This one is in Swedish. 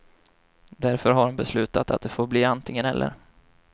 Därför har hon beslutat att det får bli antingen eller.